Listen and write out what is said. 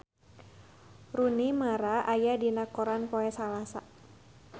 Rooney Mara aya dina koran poe Salasa